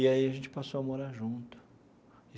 E, aí, a gente passou a morar junto.